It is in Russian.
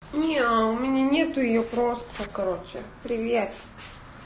неа у меня нету её просто короче привет